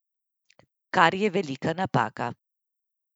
Kar je velika napaka.